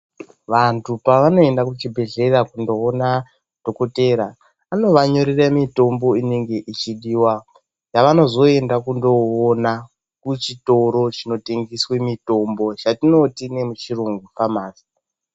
Vantu pavanoenda kuchibhehlera kunoona dhokotera anovanyorere mitombo inenge ichidiwa, yavanozoenda kunoona kuchitoro chinotengeswe mutombo yatinoti nechiyungu famasi.